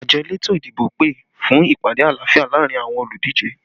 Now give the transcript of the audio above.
Àjọ elétò ìdìbò pè fún ìpàdé àlàáfíà laarin awọn oludije